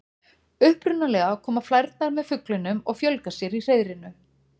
Upprunalega koma flærnar með fuglinum og fjölga sér í hreiðrinu.